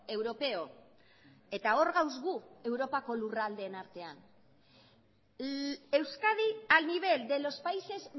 europeo eta hor gaude gu europako lurraldeen artean euskadi al nivel de los países